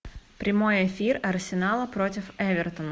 прямой эфир арсенала против эвертона